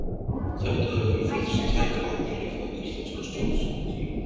þetta hefur víðtæk áhrif á íslenska stjórnsýslu